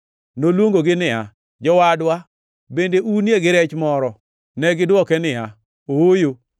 Noluongogi niya, “Jowadwa, bende unie gi rech moro?” Negidwoke niya, “Ooyo.”